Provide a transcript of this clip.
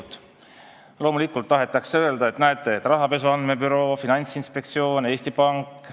Jaa, loomulikult tahetakse öelda, et näete, rahapesu andmebüroo, Finantsinspektsioon, Eesti Pank ...